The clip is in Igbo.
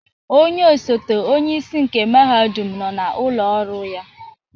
Onye ọsote onyeisi nke mahadum nọ n'ụlọ ọrụ ya.